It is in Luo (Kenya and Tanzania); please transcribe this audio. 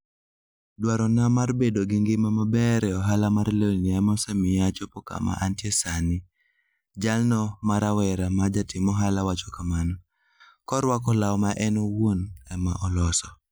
Dwarona mar bedo gi ngima maber e ohala mar lewni ema osemiyo achopo kama antie sani, jalo ma rawera ma jatim ohala wacho kamano, korwako law ma en owuon ema noloso.